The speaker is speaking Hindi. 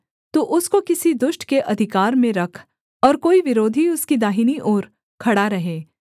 तू उसको किसी दुष्ट के अधिकार में रख और कोई विरोधी उसकी दाहिनी ओर खड़ा रहे